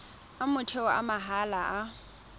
a motheo a mahala a